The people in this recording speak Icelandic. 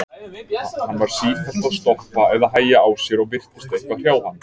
Hann var sífellt að stoppa eða hægja á sér og virtist eitthvað hrjá hann.